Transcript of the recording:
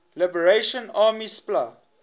liberation army spla